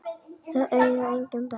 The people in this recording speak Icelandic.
Þau eiga engin börn.